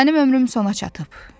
Mənim ömrüm sona çatıb.